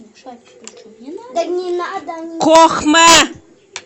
кохме